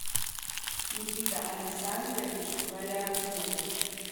никита александрович валиахметов